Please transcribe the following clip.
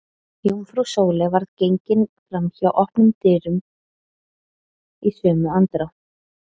Jómfrú Sóley varð gengið fram hjá opnum dyrunum í sömu andrá.